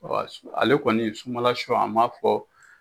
Ale kɔni sunbala sun an ba fɔ